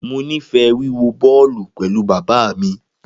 Mo nifẹ wiwo bọọlu pẹlu baba mi.